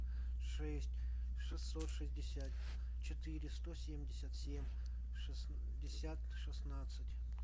шесть шестьсот шестьдесят четыре сто семьдесят семь шестьдесят шестнадцать